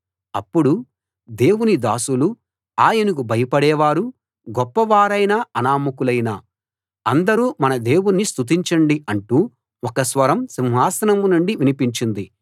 అప్పుడు దేవుని దాసులు ఆయనకు భయపడే వారు గొప్పవారైనా అనామకులైనా అందరూ మన దేవుణ్ణి స్తుతించండి అంటూ ఒక స్వరం సింహాసనం నుండి వినిపించింది